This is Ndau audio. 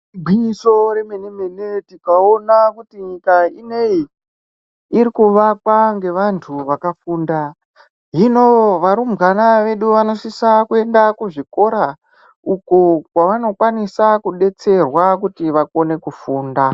Igwinyiso remene-mene tikaona kuti nyika ineyi irikuvakwa ngevantu vakafunda. Hino varumbwana vedu vanosisa kuenda kuzvikora uko kwavanokwanisa kudetserwa kuti vakone kufunda.